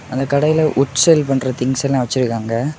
அந்த கடையில உட்செல் பண்ற திங்ஸ் எல்லா வச்சிருக்காங்க.